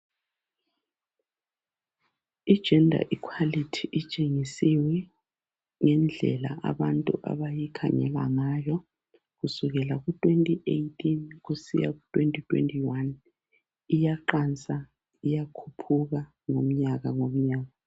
i gender equality itshengisiwe ngendlela abantu abayikhangela ngayo kusukela ku 2018 kusiya ku 2021 iyaqansa iyakhuphuka ngomnyaka ngomnyaka